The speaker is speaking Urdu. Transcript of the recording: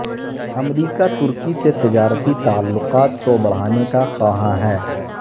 امریکہ ترکی سے تجارتی تعلقات کو بڑھانے کا خواہاں ہے